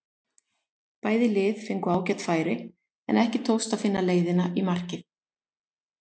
Bæði lið fengu ágæt færi en ekki tókst að finna leiðina í markið.